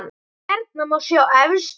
Hérna má sjá efstu menn